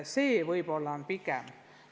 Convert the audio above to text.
Võib-olla pigem selles on asi.